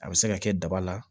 A bɛ se ka kɛ daba la